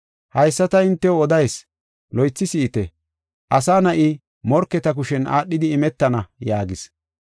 “Haysa ta hintew odeysa loythi si7ite; Asa Na7i morketa kushen aadhidi imetana” yaagis.